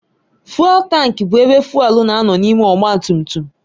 Fụ́élú taank bụ ebe fụ́élú na-anọ n'ime ọgbatumtum.